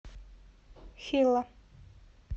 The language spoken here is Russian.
хилла